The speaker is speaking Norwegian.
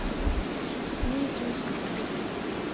ni tusen og sytten